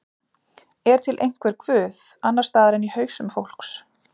Er til einhver guð, annars staðar en í hausum fólks?